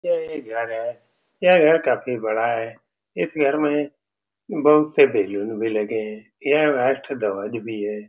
यह एक घर है यह घर काफी बड़ा है इस घर में बहुत से बैलून भी लगे हैं यह राष्ट्र ध्वज भी है ।